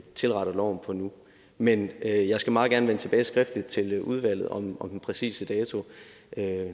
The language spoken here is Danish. tilretter loven på nu men jeg jeg skal meget gerne vende skriftligt tilbage til udvalget om den præcise dato